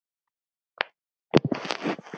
Hansa: Jú, það er rétt.